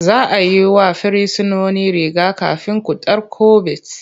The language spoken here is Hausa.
Za a yi wa Firsinoni riga-kafin cutar kobit.